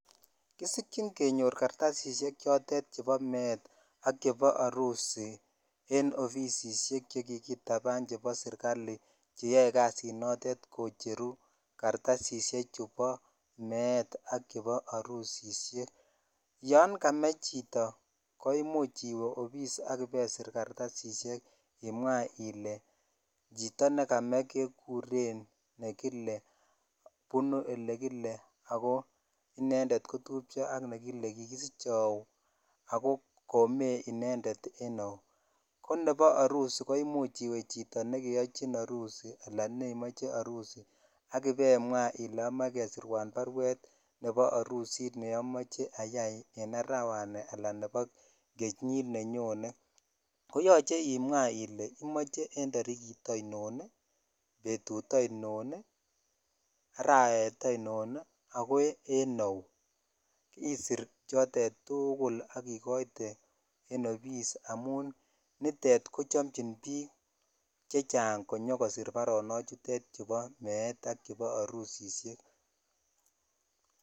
Kusikyin kenyor kartasishek chebo meet ak chebo arusi en ofisishek chekikitaban chekibo serikali cheyoe kasinotet kocheru kartasishechu boo meet ak chebo arusishek, yoon James chito koimuch iwee obis ak ibeisir kartasishek imwaa ilee chito nekame kekuren nekile, bunuu elekile ak ko inendet kotupcho ak nekikisiche auu, ak ko komee inendet en auu, ko nebo arusi imuch iwe chito nekiyochin arusi alaan nemoche arusi ak ibemwa ilee amoe kesirwan barwet nebo arusit neimoche ayai en arawani alaan nebo kenyit nenyone koyoche imwaa ilee imoche en torikit ainon, betut ainon, arawet ainon ak ko en auu, isir chotet tukul ak ikoite en obis amun nitet kochomchin biik chechang konyokosir baronoutet chubo meet ak arusishek.